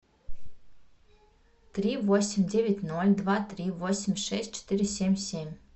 три восемь девять ноль два три восемь шесть четыре семь семь